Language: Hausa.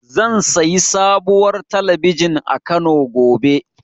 Zan sayi sabuwar talabijin a Kano, gobe.